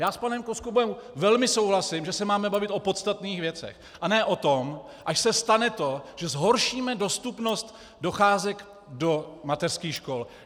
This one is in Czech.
Já s panem Koskubou velmi souhlasím, že se máme bavit o podstatných věcech, a ne o tom, až se stane to, že zhoršíme dostupnost docházek do mateřských škol.